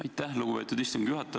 Aitäh, lugupeetud istungi juhataja!